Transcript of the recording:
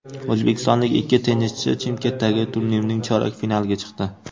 O‘zbekistonlik ikki tennischi Chimkentdagi turnirning chorak finaliga chiqdi.